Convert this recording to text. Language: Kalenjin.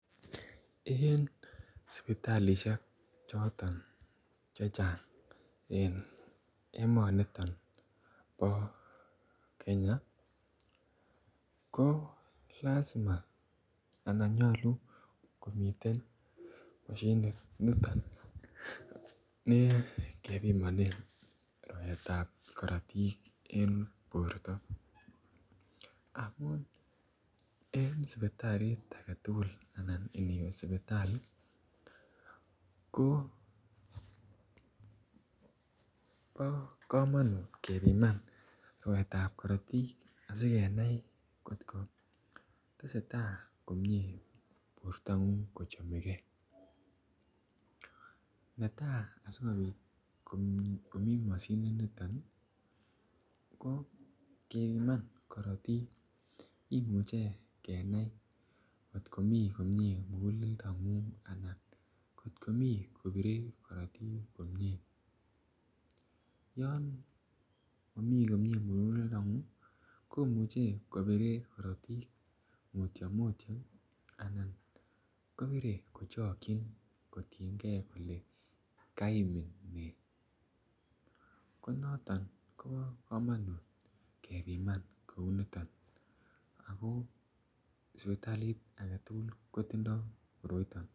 En sipitalisiek chechang en emoni bo Kenya ko lazima anan nyolu komiten mashinit niton ne kebimonen rwaet ab korotik en borto amun en sipitalit age tugul anan iniwe sipitali ko bo komonut kebiman rwaet ab korotik asi kenai angot kotestai bortangung ko chome ge netai asi komi mashininito ko kebiman korotik kimuche kenai kot komi komie muguleldo kot komi kobire korotik komie yon momi komie muguleldongung komuche kobire mutyo mutyo anan kobire kochokyin kotienge kole kaimin ne ko noton kobo kamanut kebiman kou niton ago sipitalit age tugul kotindoi koroito